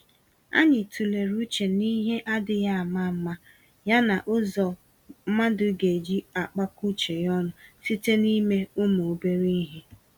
Anyị tụlere uche n'ihe adịghị àmà-àmà, ya na ụzọ mmadụ geji akpakọ uche ya ọnụ site n'ime ụmụ-obere-ihe